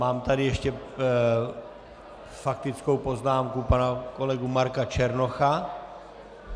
Mám tady ještě faktickou poznámku pana kolegy Marka Černocha.